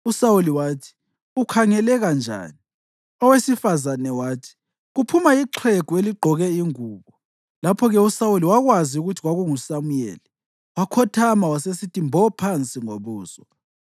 USawuli wathi, “Ukhangeleka njani?” Owesifazane wathi, “Kuphuma ixhegu eligqoke ingubo.” Lapho-ke uSawuli wakwazi ukuthi kwakunguSamuyeli, wakhothama wasesithi mbo phansi ngobuso.